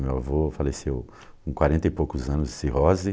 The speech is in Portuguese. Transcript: Meu avô faleceu com quarenta e poucos anos de cirrose.